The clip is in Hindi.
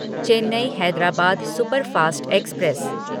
Chennai Hyderabad superfast express